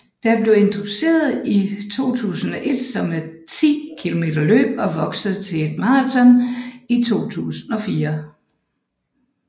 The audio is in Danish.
Det blev introduceret i 2001 som et 10 km løb og voksede til et maraton i 2004